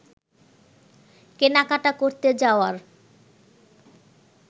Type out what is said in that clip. কেনাকাটা করতে যাওয়ার